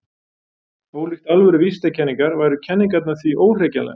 Ólíkt alvöru vísindakenningar væru kenningarnar því óhrekjanlegar.